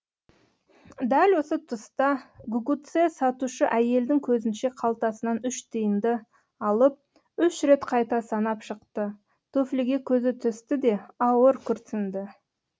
дәл осы тұста гугуцэ сатушы әйелдің көзінше қалтасынан үш тиынды алып үш рет қайта санап шықты туфлиге көзі түсті де ауыр күрсінді